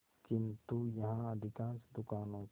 किंतु यहाँ अधिकांश दुकानों के